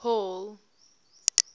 hall